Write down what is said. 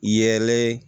Yelen